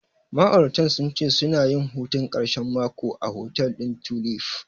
Ma'auratan sun ce suna yin hutun ƙarshen mako a hotel ɗin Tulif.